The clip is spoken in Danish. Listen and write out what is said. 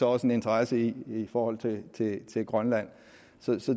også en interesse i i forhold til grønland